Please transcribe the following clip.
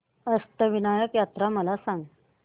अष्टविनायक यात्रा मला सांग